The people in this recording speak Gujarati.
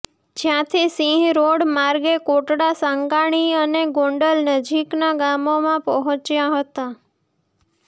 જ્યાંથી સિંહ રોડ માર્ગે કોટડા સાંગાણી અને ગોંડલ નજીકના ગામોમાં પહોંચ્યા હતા